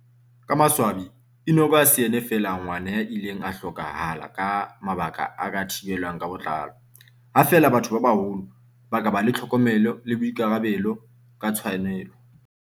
Ka maswabi, Enock ha se yena feela ngwana ya ileng a hloka hala ka mabaka a ka thibelwang ka botlalo, ha feela batho ba baholo ba ka ba le tlhokomelo le boikarabelo ka tshwanelo.